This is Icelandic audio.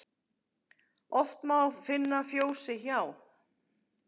Oft má finna fjósi hjá.